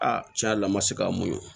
Aa tiɲɛ yɛrɛ la n ma se k'a mun ye